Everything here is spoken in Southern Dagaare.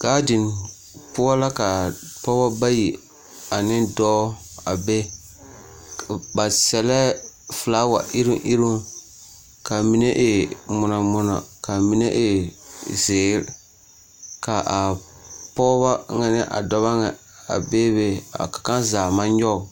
Gaadiŋ poɔ la ka pɔgeba bayi ane dɔɔ a be ba selɛɛ felaawa iruŋ iruŋ kaa mine e ŋmonɔ ŋmonɔ kaa mine e zeere ka kaa pɔgeba ne a dɔba ŋa be be ka kaŋ zaa maŋ kyɔge